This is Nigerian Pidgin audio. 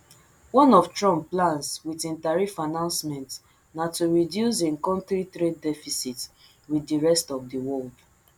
one of trump plans wit im tariff announcement na to reduce im kontri trade deficit wit di rest of di world